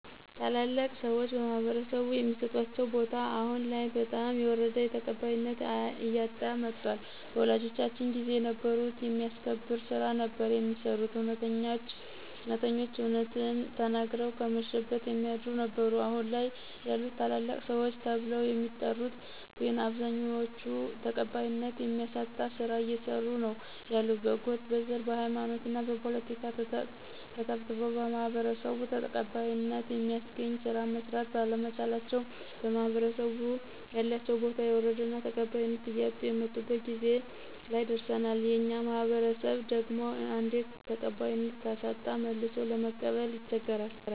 ታላላቅ ሰዎች በማህበረሰቡ የሚሰጣቸው ቦታ አሁን ላይ በጣም እየወረደ ተቀባይነት እያጣ መጧል በወላጆቻችን ጊዜ የነበሩት የሚያስከብር ስራ ነበር የሚሰሩት እውነተኞች እውነትን ተናግረው ከመሸበት የሚያድሩ ነበሩ አሁን ላይ ያሉት ታላላቅ ሰዎች ተብለው የሚጠሪት ግን አብዛኛዎቹ ተቀባይነት የሚያሳጣ ስራ እየሰሩ ነው ያሉት በጎጥ: በዘር: በሃይማኖትና በፖለቲካ ተተብትበው በማህበረሰቡ ተቀባይነተ የሚያስገኝ ስራ መስራት ባለመቻላቸው በማህበረሰቡ ያላቸው ቦታ የወረደና ተቀባይነት እያጡ የመጡበት ጊዜ ላይ ደረሰናል የኛ ማህበረሰብ ደግሞ አንዴ ተቀባይነት ካሳጣ መልሶ ለመቀበል ይቸገራል።